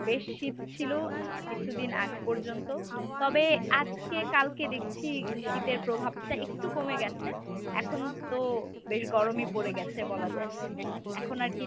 বেশ শীত ছিল আহ কিছুদিন আগ পর্যন্ত, তবে আজকে কালকে দেখছি শীতের প্রভাব টা একটু কমে গেছে এখনতো বেশ গরমই পরে গেছে বলা যায় এখন আরকি